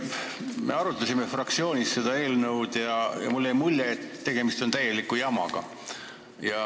Me arutasime fraktsioonis seda eelnõu ja mulle jäi mulje, et tegemist on täieliku jamaga.